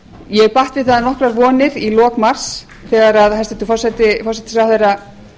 ég batt við það nokkrar vonir í lok mars þegar hæstvirtur forsætisráðherra